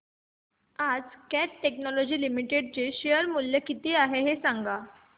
आज Cat Technologies Limited चे share चे मूल्य किती आहे सांगा